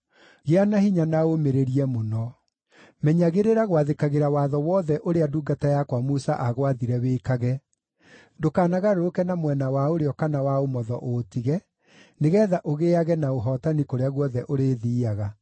Gĩa na hinya na ũũmĩrĩrie mũno. Menyagĩrĩra gwathĩkagĩra watho wothe ũrĩa ndungata yakwa Musa aagwathire wĩkage; ndũkanagarũrũke na mwena wa ũrĩo kana wa ũmotho ũũtige, nĩgeetha ũgĩĩage na ũhootani kũrĩa guothe ũrĩthiiaga.